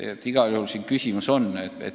Aga igal juhul siin küsimus on.